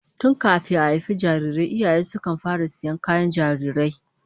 Tun kafin a haifi jarirai iyaye sukan fara sayan kayan jarirai